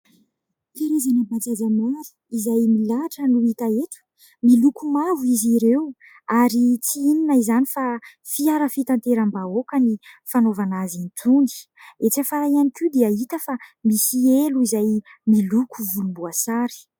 Karazana bajaja maro, izay milahatra no hita eto, miloko mavo izy ireo. Ary tsy inona izany fa fiara fitateram-bahoaka ny fanaovana azy itony. Etsy afara ihany koa dia hita fa misy elo izay miloko volomboasary.